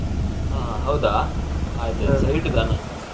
ಹಾ ಹೌದಾ ಆಯ್ತ್ ಆಯ್ತ್ ಸರಿ ಇಡುದಾ ನಾನು.